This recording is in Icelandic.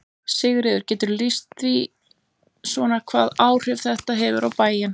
Sigríður: Geturðu lýst því svona hvaða áhrif þetta hefur á bæinn?